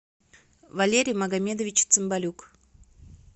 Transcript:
валерий магомедович цимбалюк